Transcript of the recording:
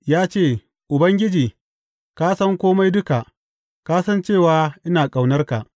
Ya ce, Ubangiji ka san kome duka; ka san cewa, ina ƙaunarka.